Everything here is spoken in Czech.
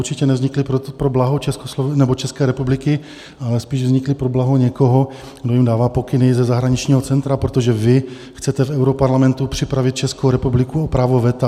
Určitě nevznikli pro blaho České republiky, ale spíše vznikli pro blaho někoho, kdo jim dává pokyny ze zahraničního centra, protože vy chcete v europarlamentu připravit Českou republiku o právo veta.